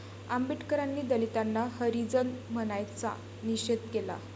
आंबेडकरांनी दलितांना हरिजन म्हणण्याचा निषेध केला